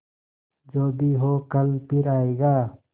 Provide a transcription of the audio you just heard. जो भी हो कल फिर आएगा